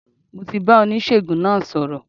Mo ti bá oníṣègùn náà sọ̀rọ̀